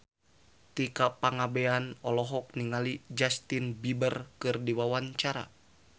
Tika Pangabean olohok ningali Justin Beiber keur diwawancara